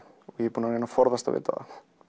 og ég er búinn að reyna að forðast að vita það